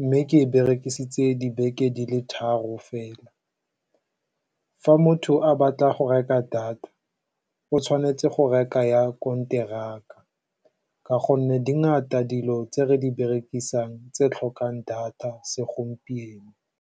mme ke e berekisitse dibeke di le tharo fela. Fa motho a batla go reka data, o tshwanetse go reka ya konteraka ka gonne di di ntsi dilo tse re di berekisang tse di tlhokang data segompieno.